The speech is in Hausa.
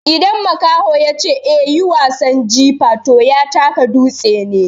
Idan makaho ya ce "a yi wasan jifa" to ya taka dutse ne.